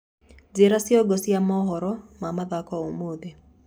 njĩĩra cĩongo cĩa mohoro ma mithako umuthi